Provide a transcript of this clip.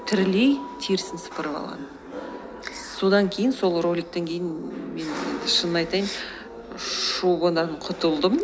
тірідей терісін сыпырып алған содан кейін сол роликтен кейін мен шынын айтайын шубыдан құтылдым